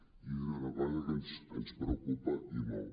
i això és una cosa que ens preocupa i molt